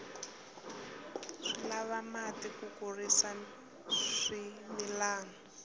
swi lava mati ku kurisa swimilana